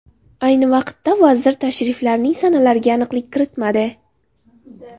Ayni vaqtda, vazir tashriflarning sanalariga aniqlik kiritmadi.